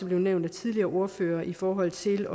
blevet nævnt af de tidligere ordførere i forhold til